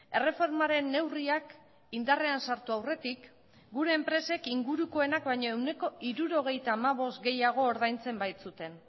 erreformaren neurriak indarrean sartu aurretik gure enpresek ingurukoenak baino ehuneko hirurogeita hamabost gehiago ordaintzen baitzuten